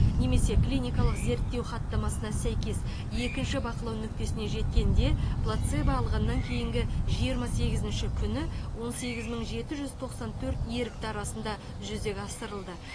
немесе клиникалық зерттеу хаттамасына сәйкес екінші бақылау нүктесіне жеткенде плацебо алғаннан кейінгі жиырма сегізінші күні он сегіз мың жеті жүз тоқсан төрт ерікті арасында жүзеге асырылды